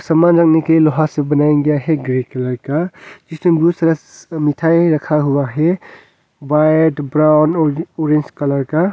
सामान रखने के लोहा से बनाया गया है ग्रे कलर का इसमें बहुत सारा मिठाई रखा हुआ है व्हाइट ब्राउन ऑरेंज कलर का।